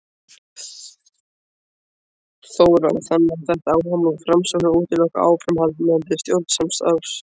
Þóra: Þannig að þetta áhugamál Framsóknar útiloki áframhaldandi stjórnarsamstarf?